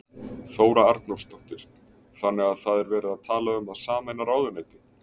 Þóra Arnórsdóttir: Þannig að það er verið að tala um að sameina ráðuneyti?